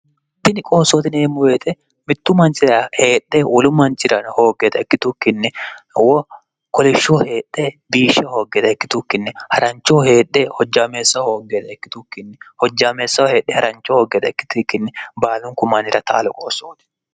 itini qoossootineemmu beete mittu mancira heedhe wolu mancira hooggeda ikkitukkinni wo kolishshoho heedhe biishshe hooggeeda ikkitukkinni ha'ranchoho heedhe hojjaameessaho hooggeta ikkitukkinni hojjaameessaho heedhe ha'rancho hooggeeda ikkitukkinni baalun kumanira taalo qoossooti